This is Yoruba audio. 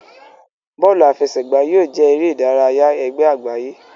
Bóòlù àfẹsẹ̀gbá yóò jẹ eré ìdárayá ègbé àgbáyé.